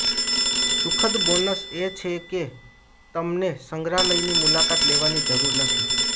સુખદ બોનસ એ છે કે તમને સંગ્રહાલયની મુલાકાત લેવાની જરૂર નથી